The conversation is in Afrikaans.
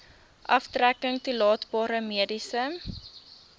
aftrekking toelaatbare mediese